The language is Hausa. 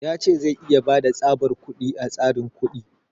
Ya ce zai iya bada tsabar kuɗi a tsarin kuɗi.